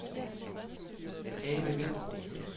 Ane Vinther